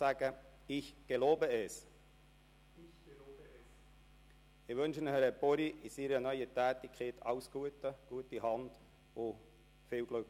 Ich wünsche Herrn Buri in seiner neuen Tätigkeit alles Gute, eine gute Hand und viel Glück.